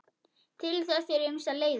Til þess eru ýmsar leiðir.